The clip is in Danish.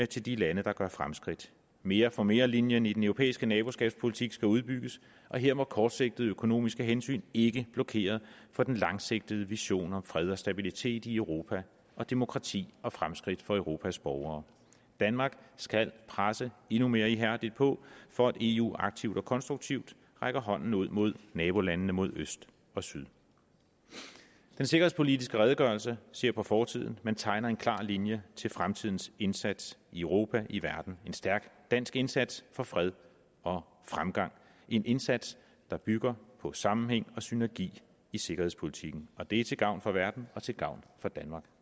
til de lande der gør fremskridt mere for mere linjen i den europæiske naboskabspolitik skal udbygges og her må kortsigtede økonomiske hensyn ikke blokere for den langsigtede vision om fred og stabilitet i europa og demokrati og fremskridt for europas borgere danmark skal presse endnu mere ihærdigt på for at eu aktivt og konstruktivt rækker hånden ud mod nabolandene mod øst og syd den sikkerhedspolitiske redegørelse ser på fortiden men tegner en klar linje til fremtidens indsats i europa i verden en stærk dansk indsats for fred og fremgang en indsats der bygger på sammenhæng og synergi i sikkerhedspolitikken og det er til gavn for verden og til gavn for danmark